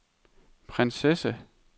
prinsesse